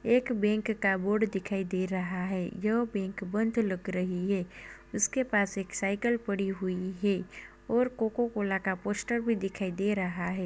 एक बैंक का बोर्ड दिखाई दे रहा है जो बैंक बंद लग रही है। उसके पास एक साइकिल पड़ी हुई है और कोको-कोला का पोस्टर भी दिखाई दे रहा है।